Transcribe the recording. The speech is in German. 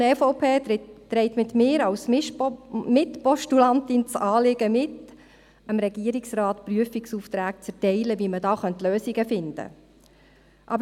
Die Fraktion EVP trägt mit mir als Mitpostulantin das Anliegen mit, dem Regierungsrat dazu Prüfungsaufträge zu erteilen, wie man Lösungen finden könnte.